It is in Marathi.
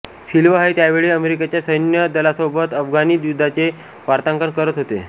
सिल्वा हे त्यावेळी अमेरिकेच्या सैन्य दलासोबत अफगाणी युद्धाचे वार्तांकन करत होते